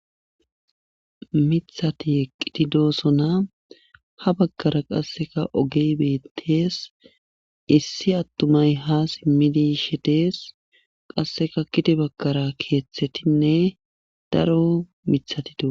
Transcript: Mithati eqqiti doosona ha bagkara qasseka ogey beettees issi attumay ha simmidi shetees qasseka kiti bagkara keeththetinne daro mithati doo.